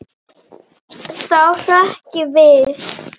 Þá hrökk ég við.